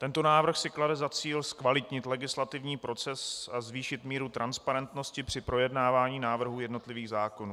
Tento návrh si klade za cíl zkvalitnit legislativní proces a zvýšit míru transparentnosti při projednávání návrhů jednotlivých zákonů.